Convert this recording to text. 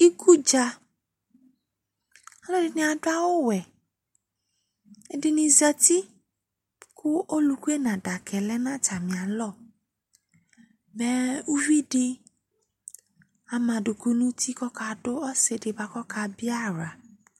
Ikudza Alʋɛdɩnɩ adʋ awʋwɛ ;ɛdɩnɩ zati , kʋ olʋkue n'adakaɛ lɛ n'tamɩ alɔ Mɛ uvidɩ ama adʋkʋ n'uti k'ɔkadʋ ɔsɩdɩ bʋa k'ɔkabɩ aɣla